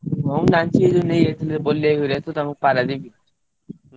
ହଁ ମୁଁ ଜାଣିଛି ପାରାଦିପ।